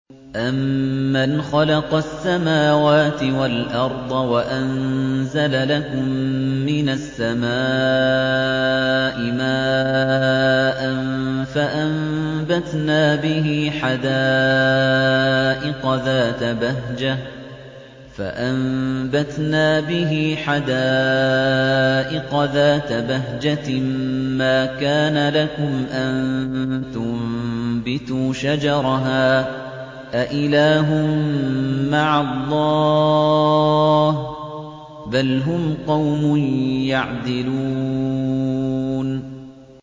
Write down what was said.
أَمَّنْ خَلَقَ السَّمَاوَاتِ وَالْأَرْضَ وَأَنزَلَ لَكُم مِّنَ السَّمَاءِ مَاءً فَأَنبَتْنَا بِهِ حَدَائِقَ ذَاتَ بَهْجَةٍ مَّا كَانَ لَكُمْ أَن تُنبِتُوا شَجَرَهَا ۗ أَإِلَٰهٌ مَّعَ اللَّهِ ۚ بَلْ هُمْ قَوْمٌ يَعْدِلُونَ